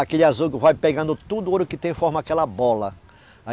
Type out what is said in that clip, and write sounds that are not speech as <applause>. Aquele azougue vai pegando tudo o ouro que tem e forma aquela bola. <unintelligible>